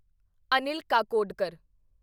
Anil Kakodkar